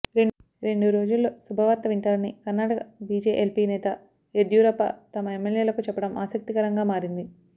రెండు రోజుల్లో శుభవార్త వింటారని కర్నాటక బీజేఎల్పీ నేత యడ్యూరప్ప తమ ఎమ్మెల్యేలకు చెప్పడం ఆసక్తిరకరంగా మారింది